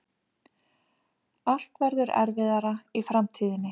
Allt verður erfiðara í framtíðinni.